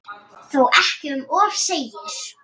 Þó ekki um of segir